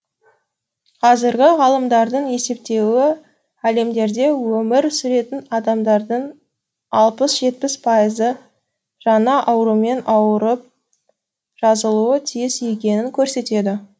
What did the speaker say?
қазіргі ғалымдардың есептеуі әлемде өмір сүретін адамдардың алпыс жетпіс пайызы жаңа аурумен ауырып жазылуы тиіс екенін көрсетеді